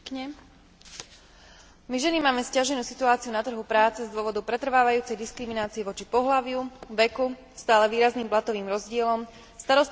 My ženy máme sťaženú situáciu na trhu práce z dôvodu pretrvávajúcej diskriminácie voči pohlaviu, veku, stále výrazným platovým rozdielom, starostlivosti o rodinu a tak ďalej.